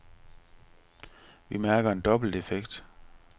Vi mærker en dobbelt effekt.